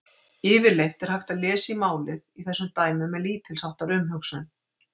Yfirleitt er hægt að lesa í málið í þessum dæmum með lítils háttar umhugsun.